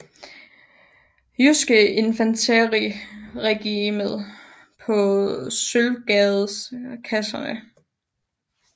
Jydske Infanteri Regiment på Sølvgades Kaserne